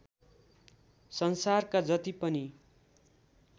संसारका जति पनि